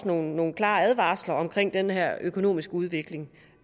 nogle nogle klare advarsler omkring den her økonomiske udvikling